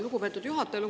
Lugupeetud juhataja!